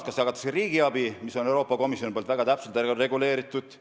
Üks on see, et jagatakse riigiabi, mis on Euroopa Komisjonil väga täpselt reguleeritud.